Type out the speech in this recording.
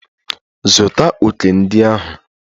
Zụta òkè ndị ahụ!